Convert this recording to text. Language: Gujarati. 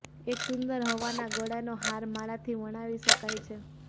એક સુંદર હવાના ગળાનો હાર માળાથી વણાવી શકાય છે